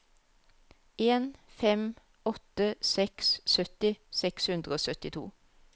en fem åtte seks sytti seks hundre og syttito